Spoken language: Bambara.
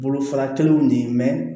Bolofara kelenw de ye